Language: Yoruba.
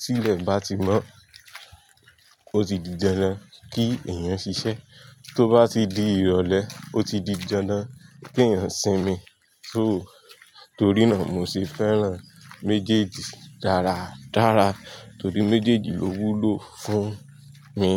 tí ilẹ̀ bá ti mọ́, ó ti di dandan kí èèyàn ṣiṣẹ́, tó bá ti di ìrọ̀lẹ́, ó ti di dandan kí èèyàn sinmi só. Torí náà mo ṣe fẹ́ràn méjèèjì dáradára torí méjèèjì lówú ló fún mi.